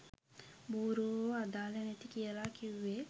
බූරුවො “අදාළ නැති” කියල කිව්වෙ.